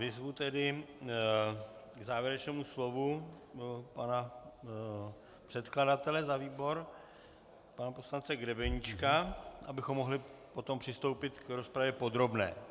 Vyzvu tedy k závěrečnému slovu pana předkladatele za výbor, pana poslance Grebeníčka, abychom mohli potom přistoupit k rozpravě podrobné.